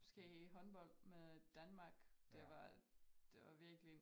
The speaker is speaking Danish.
Måske håndbold med Danmark det var det var virkelig